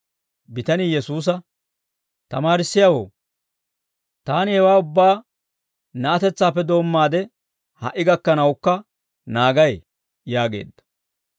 Bitanii Yesuusa, «Tamaarissiyaawoo, taani hewaa ubbaa na'atetsaappe doommaade ha"i gakkanawukka naagay» yaageedda.